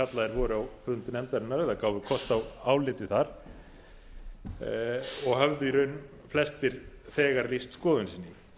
voru á fund nefndarinnar eða gáfu kost á áliti þar og höfðu í raun flestir þegar lýst skoðun sinni með